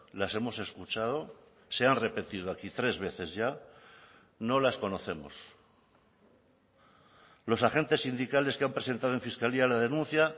las hemos escuchado se han repetido aquí tres veces ya no las conocemos los agentes sindicales que han presentado en fiscalía la denuncia